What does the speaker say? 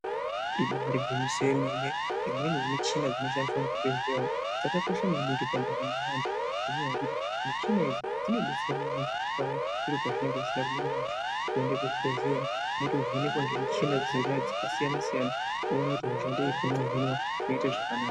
Ibari gwinyiso remene, imweni yemuchina inoshandiswa muzvibhehleya umu dzakakosha maningi pandaramo yeantu, ngekuti michina idzi dzodetsera maningi paya zviro zvisina kumira mushe woende kuzvibhehleya mwotevhenekwa ngemichina dzonaidzo dzakasiyana-siyana wona kuti hosha ngeipi mwohinwa , zvinoite zvakanaka.